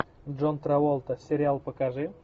джон траволта сериал покажи